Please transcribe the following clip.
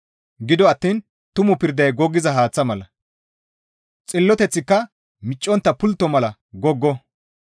Gido attiin tumu pirday goggiza haaththa mala; xilloteththika miccontta pultto mala goggo.